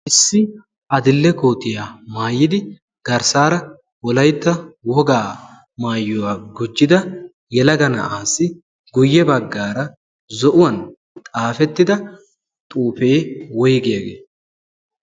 issi adille kootiyaa maayidi garssaara wolaitta wogaa maayyuwaa gujjida yalaga na7aassi guyye baggaara zo7uwan xaafettida xuufee woigiyaagee?